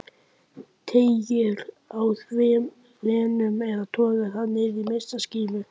Teygir á þræðinum eða togar hann niður í minnstu skímu?